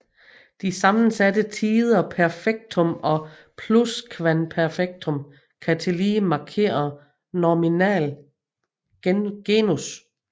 De sammensatte tider perfektum og pluskvamperfektum kan tillige markere nominal genus